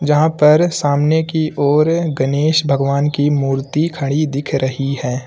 जहां पर सामने की ओर गनेश भगवान की मूर्ति खड़ी दिख रही है।